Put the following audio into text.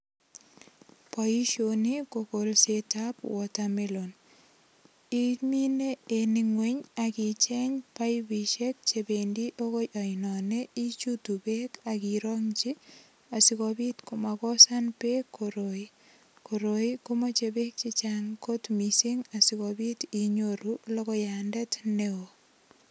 Boisioni ko kolsetab water melon. Imine en ingweny ak icheng paipisiek chependi agoi anoni, ichutu beek ak irongyi asigopit koma kosan beek koroi. Koroi ko moche beek che chang kot mising asigopit inyoru logoyandet neo.